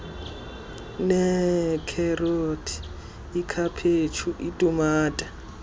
neekherothi ikhaphetshu itumato